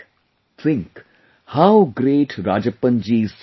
Think, how great Rajappan ji's thought is